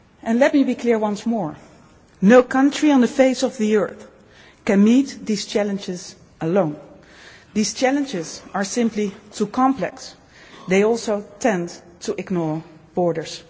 Let me be clear once more. No country on the face of the earth can meet these challenges alone. These challenges are simply too complex. They also tend to ignore borders.